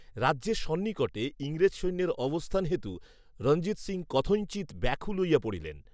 রাজ্যের সন্নিকটে ইংরাজ সৈন্যের অবস্থান হেতু, রণজিৎ সিং কথঞ্চিৎ ব্যাকুল হইয়া পড়িলেন